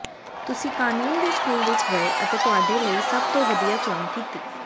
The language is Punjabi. ਤੁਸੀਂ ਕਾਨੂੰਨ ਦੇ ਸਕੂਲ ਵਿੱਚ ਗਏ ਅਤੇ ਤੁਹਾਡੇ ਲਈ ਸਭ ਤੋਂ ਵਧੀਆ ਚੋਣ ਕੀਤੀ